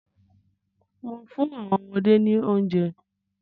Mò ń fún àwọn ọmọdé ni oúnjẹ.